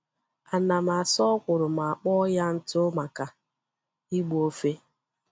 Ana m asa ọkwụrụ ma kpọọ ya ntụ maka igbu ofe.